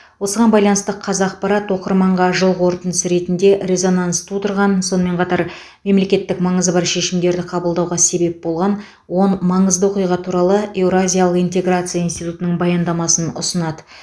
осыған байланысты қазақпарат оқырманға жыл қорытындысы ретінде резонанс тудырған сонымен қатар мемлекеттік маңызы бар шешімдерді қабылдауға себеп болған он маңызды оқиға туралы еуразиялық интеграция институтының баяндамасын ұсынады